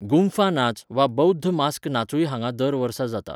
गुंफा नाच वा बौध्द मास्क नाचूय हांगा दर वर्सा जाता.